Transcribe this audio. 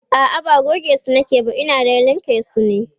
a'a ba gogesu nake ba Ina dai linka su ne